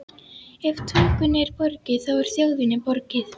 Ef tungunni er borgið, þá er þjóðinni borgið.